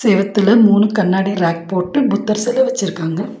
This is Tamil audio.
இந்த எடத்துல மூணு கண்ணாடி ரேக் போட்டு புத்தர் செல வச்சிருக்காங்க.